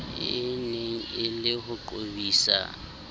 eneng e le ho qobisa